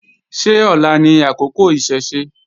Ṣé ọ̀la ni àkókò Ìṣẹ̀ṣe?